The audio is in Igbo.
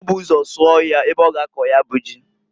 O bu ụzọ sụọ ọhịa ebe ọ ga akọ ya bụ ji.